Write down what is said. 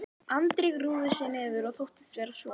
Andri grúfði sig niður og þóttist vera sofandi.